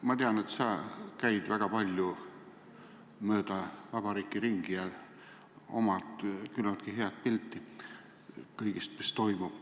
Ma tean, et sa käid väga palju mööda vabariiki ringi ja omad küllaltki head pilti kõigest, mis toimub.